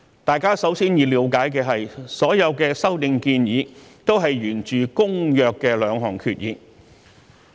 大家首先要了解的是，所有修訂建議源自《公約》的兩項決議。